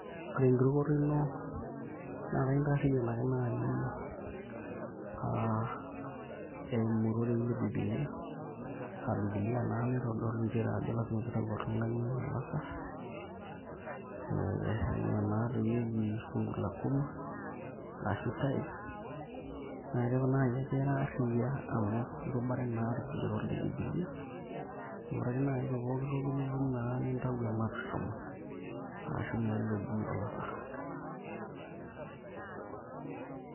Ore enkirukoto ina naa kaitarriyian ake naai eimu irorei le Biblia aa Biblia naa naitodolu nchere ajo lasima pee itau oltung'ani olasarr ee naa ina naatoi eji ee fungu la kumi arashu tithe naa keeku ake naai ira arriyia amu irubare naa irkigerot le Biblia ore naa ake naai te pooki toki nitum naa nintau ematua etomon arashu naa ilo oji olasarr.